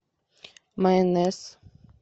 майонез